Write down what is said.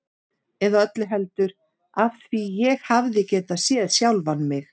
Eða öllu heldur: af því ég hefði getað séð sjálfan mig.